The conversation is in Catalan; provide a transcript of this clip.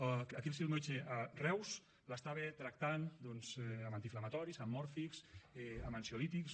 el seu metge a reus l’estava tractant doncs amb antiinflamatoris amb mòrfics amb ansiolítics